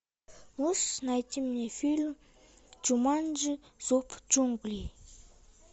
можешь найти мне фильм джуманджи зов джунглей